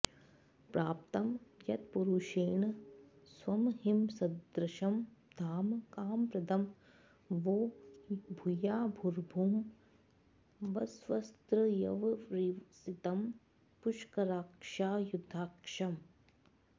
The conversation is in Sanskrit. प्राप्तं यत्पूरुषेण स्वमहिमसदृशं धाम कामप्रदं वो भूयाभूर्भुवस्स्वस्त्रयवरिवसितं पुष्कराक्षायुधाक्षम्